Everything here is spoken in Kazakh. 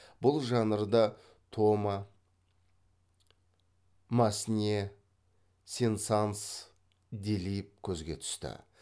бұл жанрда тома массне сен санс делиб көзге түсті